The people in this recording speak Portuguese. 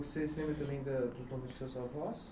Você se lembra ainda dos nomes dos seus avós?